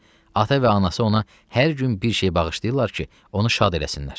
Ata və anası ona hər gün bir şey bağışlayırlar ki, onu şad eləsinlər.